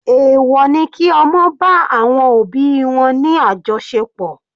Èwọ̀ ni kí ọmọ bá àwọn òbí wọn ní àjọṣepọ̀.